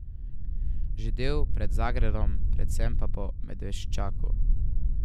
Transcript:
Že del pred Zagrebom, predvsem pa po Medveščaku.